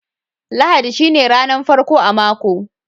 Lahadi shine ranan farko a mako.